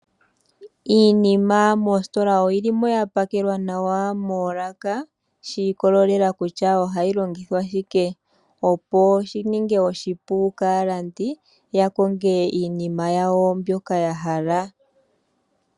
Iinima moositola oyi li mo ya pakelwa nawa moolaka shi ikolelela kutya kutya ohayi langithwa shike, opo shi ninge oshipu kaalandi ya konge iinima yawo mbyoka ya hala.